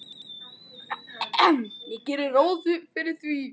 Ég geri ráð fyrir því.